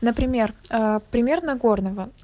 например а пример нагорного